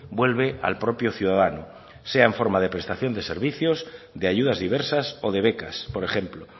vuelve al propio ciudadano sea en forma de prestación de servicios de ayudas diversas o de becas por ejemplo